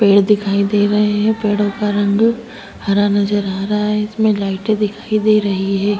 व् पेड़ दिखाई दे रहे है पेड़ो का रंग हरा नज़र आ रहा है इसमे लाइटे दिखाई दे रही है।